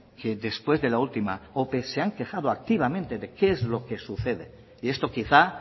que después de la última ope se han quejado activamente de qué es lo que sucede y esto quizá